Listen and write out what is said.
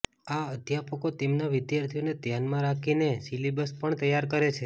આ અધ્યાપકો તેમના વિદ્યાર્થીઓને ધ્યાનમાં રાખીને સિલેબસ પણ તૈયાર કરે છે